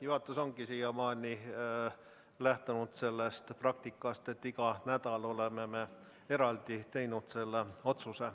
Juhatus ongi siiamaani lähtunud praktikast, et iga nädal oleme selle otsuse eraldi teinud.